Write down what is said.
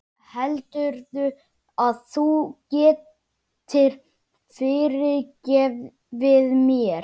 Heldurðu að þú getir fyrirgefið mér?